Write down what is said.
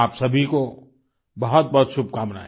आप सभी को बहुतबहुत शुभकामनाएँ